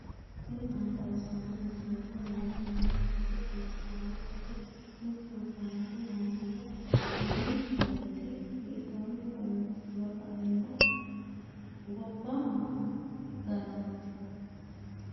tini maa xawissanno misileeti ? mulese noori maati ? hiissinannite ise ? tini kultannori mattiya? Mayi mineetti? hiittoonni loosamminno? gobba maa ganoonni?